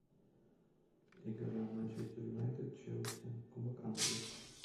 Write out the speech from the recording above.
игра манчестер юнайтед челси кубок англии